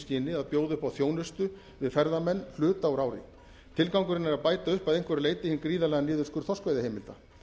skyni að bjóða upp á þjónustu við ferðamenn hluta úr ári tilgangurinn er að bæta upp að einhverju leyti hinn gríðarlega niðurskurð þorskveiðiheimilda